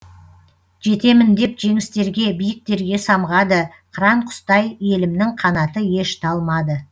жетемін деп жеңістерге биіктерге самғады қыран құстай елімнің қанаты еш талмады